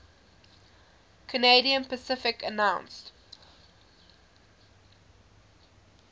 canadian pacific announced